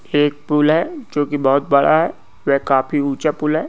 एक पुल है जोकि बहुत बड़ा है वे काफी ऊँचा पुल है।